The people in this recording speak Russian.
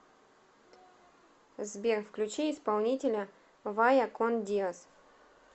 сбер включи исполнителя вая кон диос